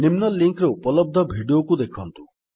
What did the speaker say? ନିମ୍ନ ଲିଙ୍କ୍ ରେ ଉପଲବ୍ଧ ଭିଡିଓକୁ ଦେଖନ୍ତୁ